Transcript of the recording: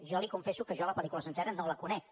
jo li confesso que jo la pel·lícula sencera no la conec